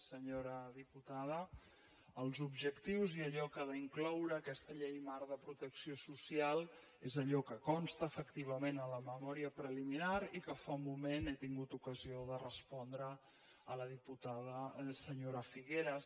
senyora diputada els objectius i allò que ha d’incloure aquesta llei marc de protecció social és allò que consta efectivament a la memòria preliminar i que fa un moment he tingut ocasió de respondre a la diputada senyora figueras